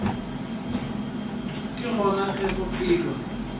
ke gona ge go phelwa